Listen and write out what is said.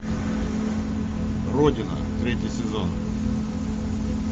родина третий сезон